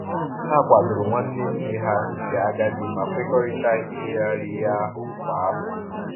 Ha kwadoro nwanne nne ha nke agadi ma kwekọrịta ileghari ihe ahụ kwa afọ